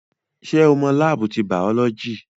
Ṣé o mọ láábù ti bàọ́lọ́jì?